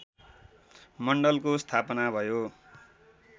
मण्डलको स्थापना भयो